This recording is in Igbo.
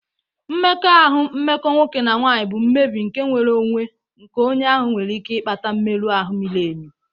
Mmekọahụ mmekọ nwoke na nwanyị bụ mmebi nke nnwere onwe nke onye ahụ nwere ike ịkpata mmerụ ahụ miri emi.